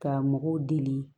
Ka mɔgɔw deli